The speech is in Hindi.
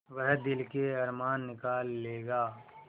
वह दिल के अरमान निकाल लेगा